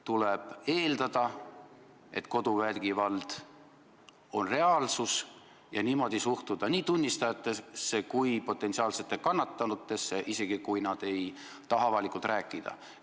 Tuleb eeldada, et koduvägivald on reaalsus, ja sellest lähtudes suhtuda nii tunnistajatesse kui ka potentsiaalsetesse kannatanutesse, isegi kui nad ei taha asjast avalikult rääkida.